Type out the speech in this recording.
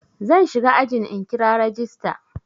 Zan shiga ajin in kira rajista.